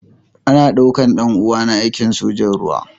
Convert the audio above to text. Ana daukar ɗan uwana aikin sojan ruwa.